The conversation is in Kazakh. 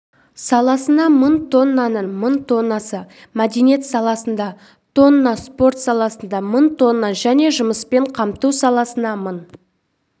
саласынамың тоннаның мың тоннасын мәдениет саласында тонна спорт саласында мың тонна және жұмыспен қамту саласына мың